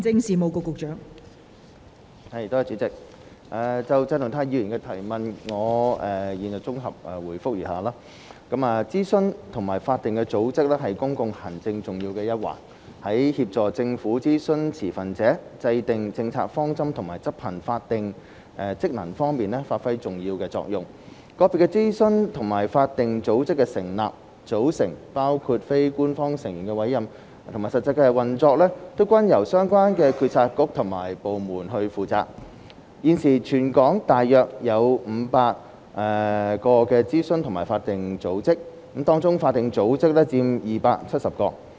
代理主席，就鄭松泰議員的質詢，我現綜合答覆如下：諮詢及法定組織是公共行政重要的一環，在協助政府諮詢持份者、制訂政策方針和執行法定職能方面發揮重要作用。個別諮詢及法定組織的成立、組成及實際運作，均由相關政策局及部門負責。現時，全港大約有500個諮詢及法定組織，當中法定組織佔270個。